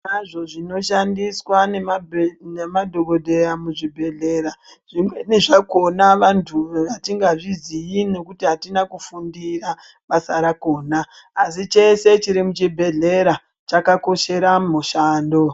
Zviro kwazvo zvinoshandiswa ne madhokodheya mu zvibhedhlera zvimweni zvakona vantu atinga zviziyi nekuti atina ku fundira basa rakona asi chese chiri mu chibhedhleya chaka koshere mushando.